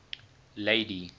lady